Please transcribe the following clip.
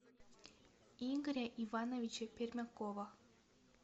игоря ивановича пермякова